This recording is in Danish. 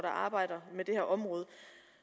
arbejder med det her område